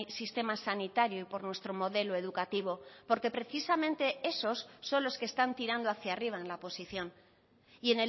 sistema sanitario y por nuestro modelo educativo porque precisamente esos son los que están tirando hacia arriba en la posición y